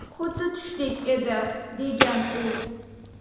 Xuddi tushdek edi”, degan u.